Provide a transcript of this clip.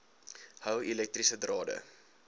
hou elektriese drade